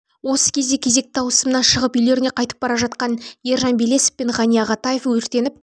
осы кезде кезекті ауысымнан шығып үйлеріне қайтап бара жатқан ержан белесов пен ғани ағатаев өртеніп